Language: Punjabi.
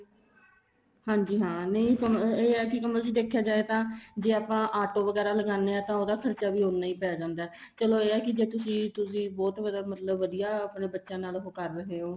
ਹਾਂਜੀ ਹਾਂ ਨਹੀਂ ਇਹ ਹੈ ਕਮਲ ਜੀ ਦੇਖਿਆ ਜਾਏ ਤਾਂ ਜ਼ੇ ਆਪਾਂ auto ਵਗੈਰਾ ਲਗਾਂਦੇ ਹਾਂ ਤਾਂ ਉਹਦਾ ਖਰਚਾ ਵੀ ਉਹਨਾ ਹੀ ਪੈ ਜਾਂਦਾ ਚਲੋ ਇਹ ਹੈ ਕੀ ਜ਼ੇ ਤੁਸੀਂ ਤੁਸੀਂ ਬਹੁਤ ਵਧੀਆ ਆਪਣੇ ਬੱਚਿਆ ਨਾਲ ਉਹ ਕਰ ਰਹੇ ਹੋ